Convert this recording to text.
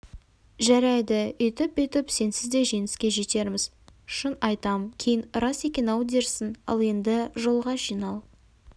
жарайды өйтіп-бүйтіп сенсіз де жеңіске жетерміз шын айтам кейін рас екен-ау дерсің ал енді жолға жинал